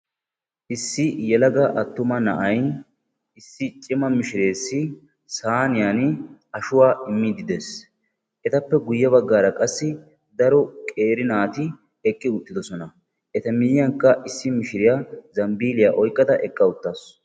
Issi yelaga attuma na'ay, issi cimma mishshirees saynniyan ashuwa immiidi de'ees. Etappe guye baggara qassi daro qeeri naati eqqi uttiddossona. Eta miyiyan qa issi mishshiriya zambbiliya oyqqada eqqa uttaasu.